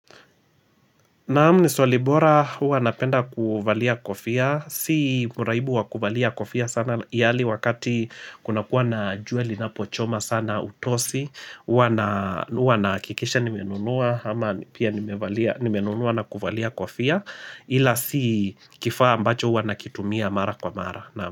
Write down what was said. Naam ni swalibora huwa napenda kuvalia kofia, si muraibu wakubalia kofia sana yali wakati kuna kuwa na jueli na pochoma sana utosi, ua na huwa na kikisha nimenunua ama pia nimenunua na kuvalia kofia ila si kifaa ambacho huwa na kitumia mara kwa mara.